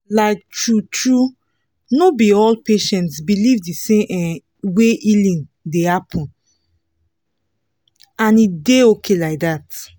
like true-true no be all patients believe the same um way healing dey happen — and e dey okay like that